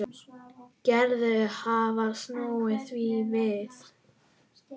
Gerður hafði snúið því við.